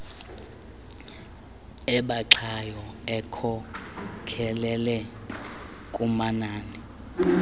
ebaxayo ekhokelele kumanani